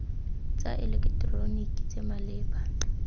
tsa eleketeroniki tse di maleba